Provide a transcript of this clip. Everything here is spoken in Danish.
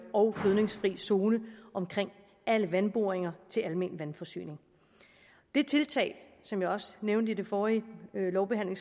og gødningsfri zone omkring alle vandboringer til almen vandforsyning det tiltag som jeg også nævnte ved den forrige lovbehandling